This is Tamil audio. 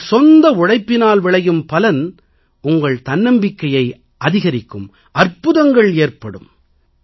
தங்கள் சொந்த உழைப்பினால் விளையும் பலன் உங்கள் தன்னம்பிக்கை அதிகரிக்கும் அற்புதங்கள் ஏற்படும்